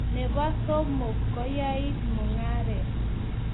nebo somok, koyait mungaret